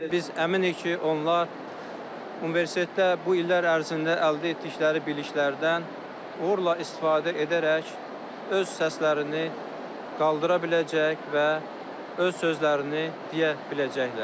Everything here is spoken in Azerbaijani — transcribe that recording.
Biz əminik ki, onlar universitetdə bu illər ərzində əldə etdikləri biliklərdən uğurla istifadə edərək öz səslərini qaldıra biləcək və öz sözlərini deyə biləcəklər.